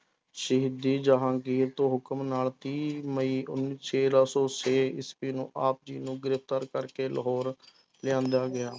ਸ਼ਹੀਦੀ ਜਹਾਂਗੀਰ ਤੋਂ ਹੁਕਮ ਨਾਲ ਤੀਹ ਮਈ ਉਨ~ ਸੌ ਛੇ ਈਸਵੀ ਨੂੰ ਆਪ ਜੀ ਨੂੰ ਗ੍ਰਿਫ਼ਤਾਰ ਕਰਕੇ ਲਾਹੌਰ ਲਿਆਂਦਾ ਗਿਆ,